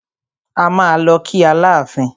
A máa lọ kí Aláàfin.